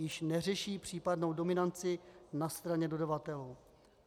Již neřeší případnou dominanci na straně dodavatele.